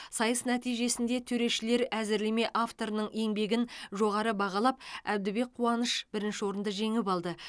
сайыс нәтижесінде төрешілер әзірлеме авторының еңбегін жоғары бағалап әбдібек қуаныш бірінші орынды жеңіп алды